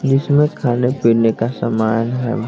जिसमें खाने पीने का सामान है।